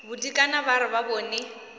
bodikana ba re ba bone